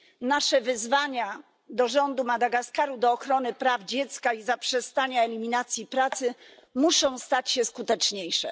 Nasze wezwania do rządu Madagaskaru do ochrony praw dziecka i eliminacji pracy muszą stać się skuteczniejsze.